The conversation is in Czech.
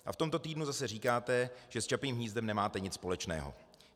A v tomto týdnu zase říkáte, že s Čapím hnízdem nemáte nic společného.